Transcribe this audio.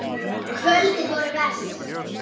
Kvöldin voru verst.